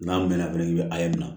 N'an bɛn na bi a ye min na